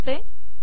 save करते